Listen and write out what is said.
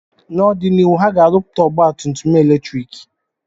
N'ọdịnihu, ha ga-arụpụta ọgba tum tum eletriki